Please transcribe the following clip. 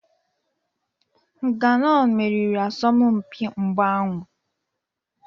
Nganou meriri asọmpi mgba ahụ.